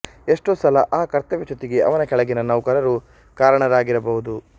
ಎಷ್ಟೋ ಸಲ ಆ ಕರ್ತವ್ಯಚ್ಯುತಿಗೆ ಅವನ ಕೆಳಗಿನ ನೌಕರರು ಕಾರಣರಾಗಿರಬಹುದು